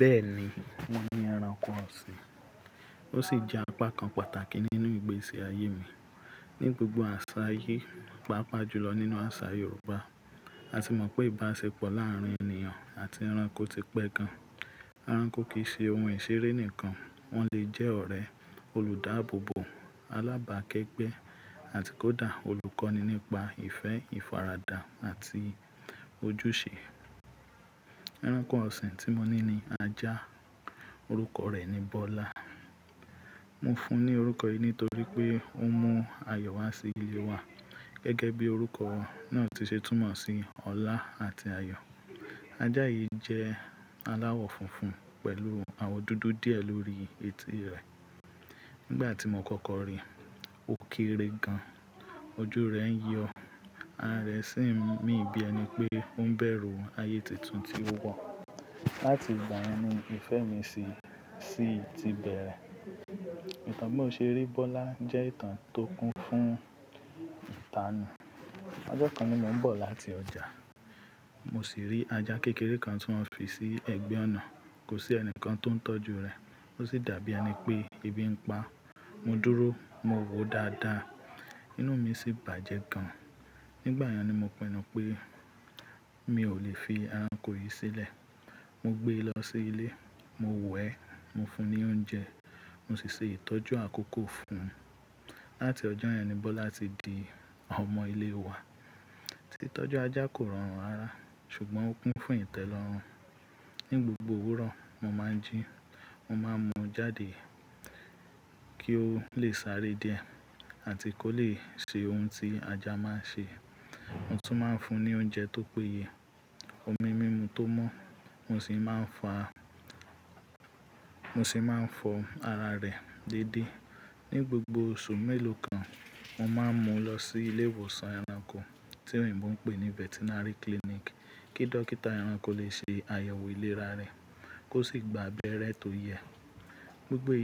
Bẹ́ẹ̀ni, mo ni ẹranko ọ̀sìn, ó sì jẹ́ apá kan pàtàkì nínú ìgbésí ayé mi. Ni gbogbo àṣà ayé, pàápàá jùlọ nínú àṣà Yorùbá, a ti mọ̀ pé ìbáṣepọ̀ láàárín ènìyàn àti ẹranko ti pẹ́ gan-an. Ẹranko kì í ṣe ohun ìṣeré nìkan, wọ́n lè jẹ́ ọ̀rẹ́, olùdáábòbò, alábàákẹ́gbẹ́ àti kódà olùkọ́ni nípa ìfẹ́, ìfaradà àti ojúṣe. Ẹranko ọ̀sìn tí mo ní ni ajá, orúkọ rẹ̀ ni Bọ́lá. Mo fún un ní orúkọ yìí nítorí pé ó mú ayọ̀ wá sí ilé wa gẹ́gẹ́ bí orúkọ náà ti ṣe túmọ̀ sí ọlá àti ayọ̀. Ajá yìí jẹ́ aláwọ̀ funfun pẹ̀lú àwọ̀ dúdú díẹ̀ lórí etí rẹ̀. Nígbà tí mo kọ́kọ́ rí i, ó kéré gan, ojú rẹ̀ ń yọ, ara rẹ̀ sì ń mì bí ẹni pé ó ń bẹ̀rù ayé tuntun tí ó wọ̀. Láti ìgbà yen ni ìfẹ́ mi sii ti bẹ̀rẹ̀. Ìtàn bí mo ṣe rí Bọ́lá jẹ́ ìtàn tó kún fún ìtanù. Ọjọ́ kan ni mo ń bọ̀ láti ọjà, mo sì rí ajá kékeré kan ti won fi sí ẹ̀gbẹ́ ọ̀nà, kò sí ẹnìkan tó ń tọ́jú rẹ̀, ó sì dàbí ẹni pé ebi ń pa á. Mo dúró, mo wòó dáadáa, inú mi sì bàjẹ́ gan. Nígbà náà ni mo pinu pé mi ò lè fi ẹranko yìí sílẹ̀. Mo gbé e lọ sí ilé, mo wẹ́ ẹ, mo fún ní oúnjẹ, mo sì ṣe ìtọ́jú àkókò fún un. Láti ọjọ́ náà ni Bọ́lá ti di ọmọ ilé wa. Ìtọ́jú ajá kò rọrùn rara, ṣùgbọ́n ó kún fún ìtẹ́lọrùn. Ni gbogbo òwúrọ̀, mo máa ń jí i, mo máa ń mú u jáde kí ó lè sáré de àti kó lè ṣe ohun tí ajá máa ń ṣe. Mo tún máa ń fún un ní oúnjẹ tó péye, omi mímu tó mọ́, mo sì máa ń fọ ara rẹ̀ déédé. Ni gbogbo oṣù mélòó kan, mo máa ń mú un lọ sí ilé ìwòsàn ẹranko tí oyinbo ń pè ní Veterinary Clinic kí dókítà ẹranko lè ṣe àyẹ̀wò ìlera rẹ̀ kó sì gba abẹ́rẹ́ tó yẹ. Gbgbo